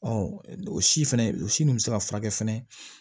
o si fɛnɛ o si nun bɛ se ka furakɛ fɛnɛ